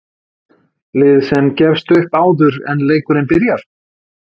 Lið sem gefst upp áður en leikurinn byrjar